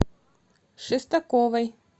шестаковой